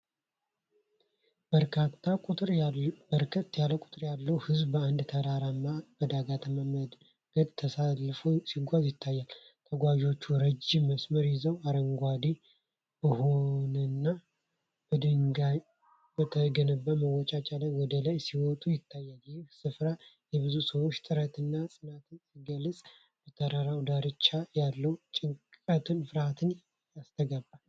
በርካታ ቁጥር ያለው ሕዝብ በአንድ ተራራማና በዳገታማ መንገድ ተሰልፎ ሲጓዝ ይታያል። ተጓዦቹ ረጅም መስመር ይዘው አረንጓዴ በሆነና በድንጋይ በተገነባ መወጣጫ ላይ ወደ ላይ ሲወጡ ይታያሉ። ይህ ስፍራ የብዙ ሰዎችን ጥረትና ጽናትን ሲገልጽ፣ በተራራው ዳርቻ ያለው ጭንቀትና ፍርሃት ይታሰባል።